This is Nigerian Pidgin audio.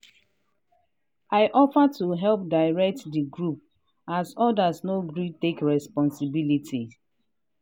i offer to help direct di group as others no gree take responsibity.